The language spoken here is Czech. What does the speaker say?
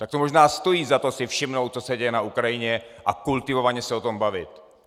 Tak to možná stojí za to si všimnout, co se děje na Ukrajině, a kultivovaně se o tom bavit.